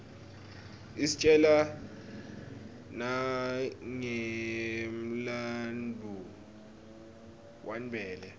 istjela nanqemlanbuo wanbela